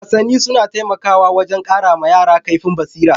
Wasanni suna taimakawa wajen ƙara wa yara kaifin basira.